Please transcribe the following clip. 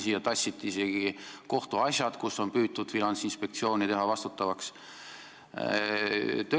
Siia tassiti isegi kohtuasjad, kus Finantsinspektsiooni on püütud vastutavaks teha.